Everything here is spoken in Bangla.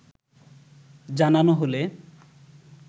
জানানো হলে